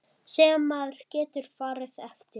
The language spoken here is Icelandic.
Sem maður getur farið eftir.